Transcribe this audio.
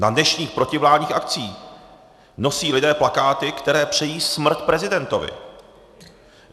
Na dnešních protivládních akcích nosí lidé plakáty, které přejí smrt prezidentovi.